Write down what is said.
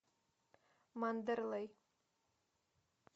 мандерлей